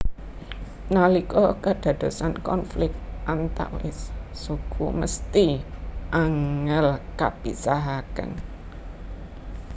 Nalika kadadosan konflik antawis suku mesthi angel kapisahaken